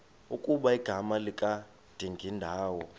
ukuba igama likadingindawo